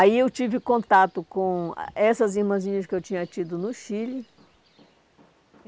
Aí eu tive contato com essas irmãzinhas que eu tinha tido no Chile.